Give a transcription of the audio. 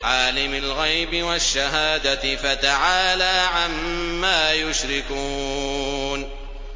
عَالِمِ الْغَيْبِ وَالشَّهَادَةِ فَتَعَالَىٰ عَمَّا يُشْرِكُونَ